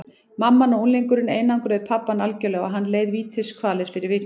Mamman og unglingurinn einangruðu pabbann algjörlega og hann leið vítiskvalir fyrir vikið.